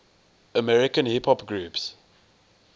american hip hop groups